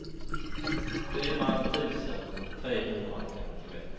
fyra tusen trehundrafemtioett